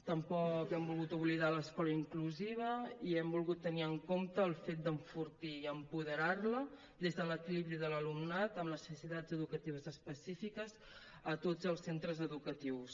tampoc hem volgut oblidar l’escola inclusiva i hem volgut tenir en compte el fet d’enfortir la i apoderar la des de l’equilibri de l’alumnat amb necessitats educatives específiques a tots els centres educatius